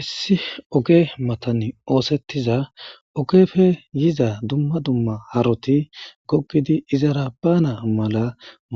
Issi oge matani oosettiza ogefe yiza dumma dumma haroti gokgidi izara baana mala